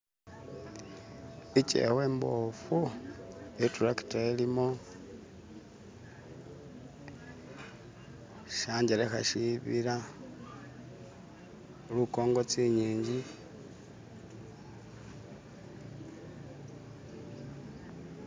ikyewa imbofu iturakita ilimo shangelekha shibila lukongo tsing'ingi .